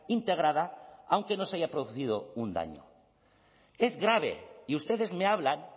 integrada aunque no se haya producido un daño es grave y ustedes me hablan